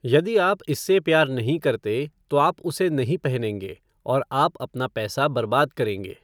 यदि आप इससे प्यार नहीं करते, तो आप उसे नहीं पहनेंगे और आप अपना पैसा बर्बाद करेंगे।